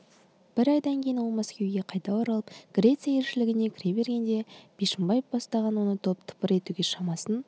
бір айдан кейін ол мәскеуге қайта оралып греция елшілігіне кіре бергенде бишімбаев бастаған топ оны тыпыр етуге шамасын